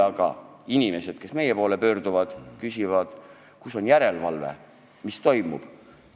Aga inimesed pöörduvad meie poole ja küsivad, kus on järelevalve, mis toimub.